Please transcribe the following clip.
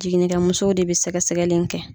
Jiginikɛ musow de bɛ sɛgɛsɛgɛli in kɛ.